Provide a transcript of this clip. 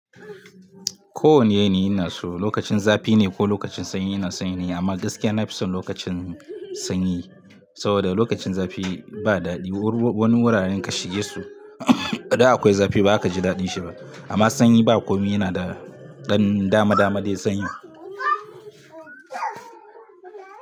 Ko wane yanayi inaso, lokacin zafi ne ko lokacin sanyi ina san yanayin, amma gaskiya na fi son lokacin sanyi. Saboda lokacin zafi, ba daɗi. Wani wuraren ka shige su ida akwai zafi ba za ka ji daɗin shi ba. Amma sanyi ba komi yana da, ɗan dama dama da sanyi.